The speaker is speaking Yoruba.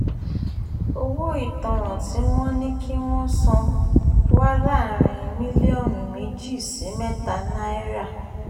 owó ìtanràn tí wọ́n ní kí wọ́n san wà láàrin mílíọ̀nù méjì sí mẹ́ta náírà